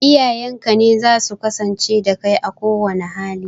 Iyayenka ne zasu kasance da kai a kowanne hali